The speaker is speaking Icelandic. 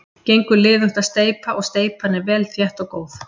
Gengur liðugt að steypa og steypan er vel þétt og góð.